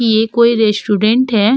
ये कोई रेस्टुरेंट है।